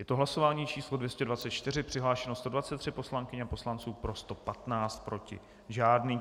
Je to hlasování číslo 224, přihlášeno 123 poslankyň a poslanců, pro 115, proti žádný.